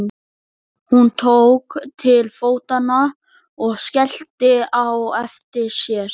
Hún tók til fótanna og skellti á eftir sér.